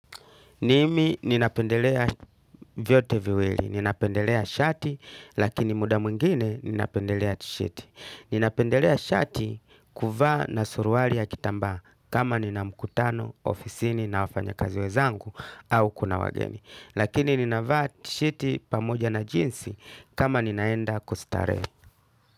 Mimi ninapendelea vyote viwili, ninapendelea shati, lakini muda mwingine ninapendelea tishati. Ninapendelea shati kuvaa na suruali ya kitamba kama nina mkutano, ofisini na wafanyakazi wenzangu au kuna wageni. Lakini ninavaa tishati pamoja na jeans kama ninaenda kustarehe.